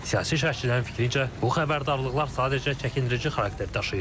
Siyasi şərhçilərin fikrincə, bu xəbərdarlıqlar sadəcə çəkindirici xarakter daşıyır.